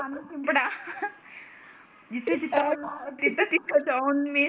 पाणी शिंपडा जिथं तिथं तिथं तिथं जाऊन मी